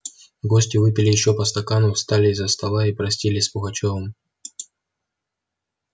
гости выпили ещё по стакану встали из-за стола и простились с пугачёвым